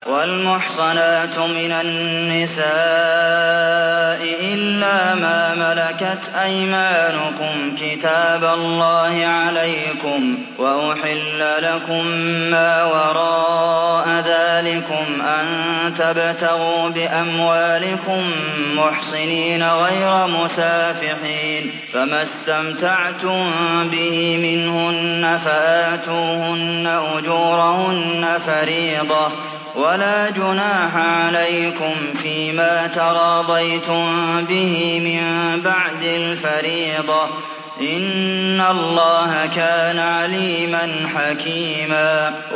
۞ وَالْمُحْصَنَاتُ مِنَ النِّسَاءِ إِلَّا مَا مَلَكَتْ أَيْمَانُكُمْ ۖ كِتَابَ اللَّهِ عَلَيْكُمْ ۚ وَأُحِلَّ لَكُم مَّا وَرَاءَ ذَٰلِكُمْ أَن تَبْتَغُوا بِأَمْوَالِكُم مُّحْصِنِينَ غَيْرَ مُسَافِحِينَ ۚ فَمَا اسْتَمْتَعْتُم بِهِ مِنْهُنَّ فَآتُوهُنَّ أُجُورَهُنَّ فَرِيضَةً ۚ وَلَا جُنَاحَ عَلَيْكُمْ فِيمَا تَرَاضَيْتُم بِهِ مِن بَعْدِ الْفَرِيضَةِ ۚ إِنَّ اللَّهَ كَانَ عَلِيمًا حَكِيمًا